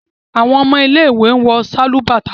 awọn ọmọ ile-iwe wọ Sálúbàtà